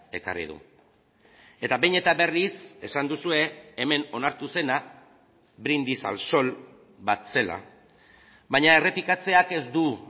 ekarri du eta behin eta berriz esan duzue hemen onartu zena brindis al sol bat zela baina errepikatzeak ez du